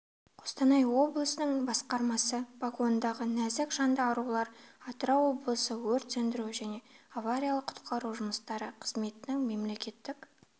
қостанай облысының басқармасы погондағы нәзік жанды арулар атырау облысы өрт сөндіру және авариялық-құтқару жұмыстары қызметінің мемлекеттік